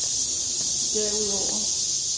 derudover